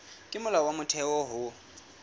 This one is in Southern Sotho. ke molao wa motheo ho